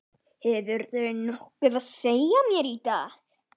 Hefurðu nokkuð að segja mér í dag?